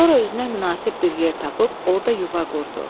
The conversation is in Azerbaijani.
Sonra özünə münasib bir yer tapıb orda yuva qurdu.